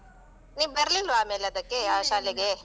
ನೀನ್ ಬರ್ಲಿಲ್ವಾ ಆಮೇಲೆ ಅದಕ್ಕೆ ಆ ಶಾಲೆಗೆ?